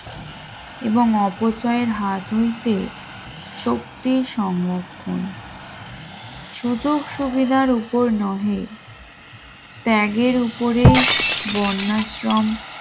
এবং অপচয় এর হাত হইতে শক্তি সংরক্ষণ সুযোগ সুবিধার উপর নহে ত্যাগের উপরেই বন্যা আশ্রম